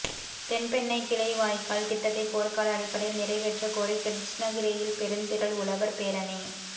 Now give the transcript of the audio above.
தென்பெண்ணை கிளைவாய்க்கால் திட்டத்தை போர்க்கால அடிப்படையில் நிறைவேற்றக்கோரி கிருட்டிணகிரியில் பெருந்திரள் உழவர் பேரணி